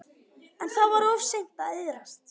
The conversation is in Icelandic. En það var of seint að iðrast.